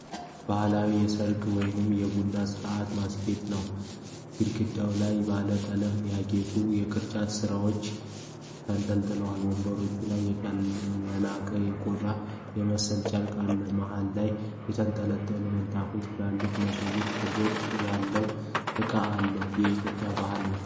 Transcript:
ባህላዊ የሠርግ ወይንም የቡና ሥነሥርዓት ማስጌጫ ነው። ግድግዳው ላይ ባለ ቀለም ያጌጡ የቅርጫት ሥራዎች ተንጠልጥለዋል። ወንበሮቹ ላይ የላም ቆዳ የመሰለ ጨርቅ አለ። መሃል ላይ የተንጣለለ ምንጣፍና ትልቅ የመሶብ ቅርጽ ያለው ዕቃ አለ። የኢትዮጵያ ባህል ነው?